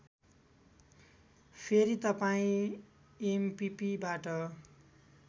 फेरी तपाईँ एमपिपिबाट